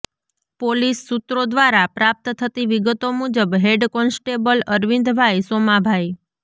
police સૂત્રો દ્વારા પ્રાપ્ત થતી વિગતો મુજબ હેડ કોન્સ્ટેબલ અરવિંદભાઈ સોમાભાઈ